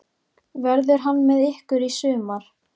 Verður hann með ykkur í sumar?